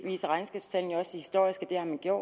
jo